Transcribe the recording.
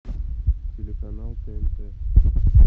телеканал тнт